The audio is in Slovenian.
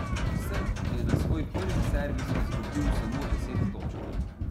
Srb je na svoj prvi servis izgubil samo deset točk.